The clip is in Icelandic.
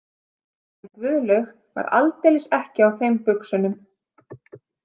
En Guðlaug var aldeilis ekki á þeim buxunum.